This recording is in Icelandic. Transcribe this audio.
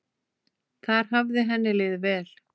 Þar hafði henni liðið vel.